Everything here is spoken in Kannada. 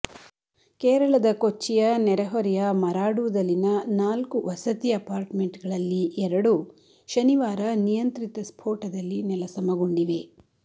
ಕೇರಳದ ಕೊಚ್ಚಿಯ ನೆರೆಹೊರೆಯ ಮರಾಡುದಲ್ಲಿನ ನಾಲ್ಕು ವಸತಿ ಅಪಾರ್ಟ್ಮೆಂಟ್ಗಳಲ್ಲಿ ಎರಡು ಶನಿವಾರ ನಿಯಂತ್ರಿತ ಸ್ಫೋಟದಲ್ಲಿ ನೆಲಸಮಗೊಂಡಿವೆ